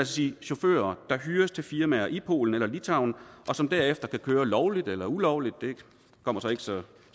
sige chauffører der hyres til firmaer i polen eller litauen og som derefter kan køre lovligt eller ulovligt det kommer sig ikke så